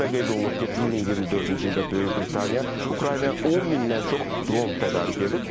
və qeyd olunur ki, 2024-cü ildə Böyük Britaniya Ukraynaya 10 mindən çox dron tədarük edib.